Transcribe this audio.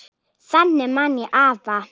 Þannig man ég afa.